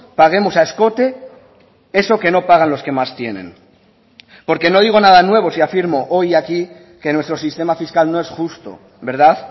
paguemos a escote eso que no pagan los que más tienen porque no digo nada nuevo si afirmo hoy aquí que nuestro sistema fiscal no es justo verdad